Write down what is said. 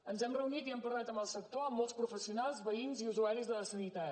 ens hem reunit i hem parlat amb el sector amb molts professionals veïns i usuaris de la sanitat